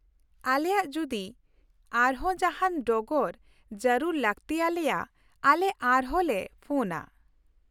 ᱟᱞᱮᱭᱟᱜ ᱡᱩᱫᱤ ᱟᱨᱦᱚᱸ ᱡᱟᱦᱟᱸᱱ ᱰᱚᱜᱚᱨ ᱡᱟᱹᱨᱩᱲ ᱞᱟᱠᱛᱤᱭᱟᱞᱮᱭᱟ , ᱟᱞᱮ ᱟᱨ ᱦᱚᱸᱞᱮ ᱯᱷᱚᱱᱼᱟ ᱾